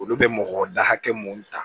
Olu bɛ mɔgɔ da hakɛ mun ta